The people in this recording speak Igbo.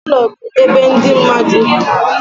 Ụlọ bụ ebe ndị mmadụ bi.